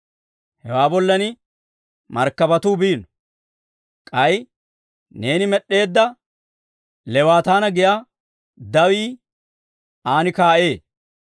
Hewaa bollan markkabatuu biino; k'ay neeni med'd'eedda Leewaataana giyaa dawii an kaa'ee.